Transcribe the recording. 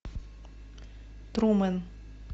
трумен